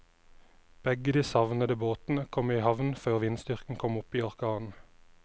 Begge de savnede båtene kom i havn før vindstyrken kom opp i orkan.